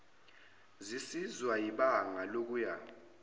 zisizwa yibanga lokuya